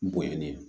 N bonɲɛnnen